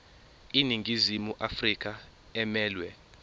iningizimu afrika emelwe